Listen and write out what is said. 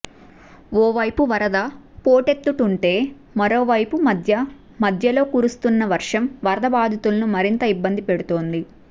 ఓ వైపు వరద పోటెత్తుతుంటే మరోవైపు మధ్య మధ్యలో కురుస్తున్న వర్షం వరద బాధితులను మరింత ఇబ్బంది పెడుతోంది